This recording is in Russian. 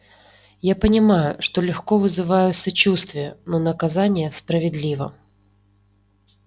я понимаю что легко вызываю сочувствие но наказание справедливо